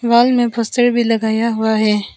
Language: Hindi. हॉल में पोस्टर भी लगाया हुआ है।